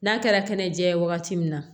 N'a kɛra kɛnɛjɛ ye wagati min na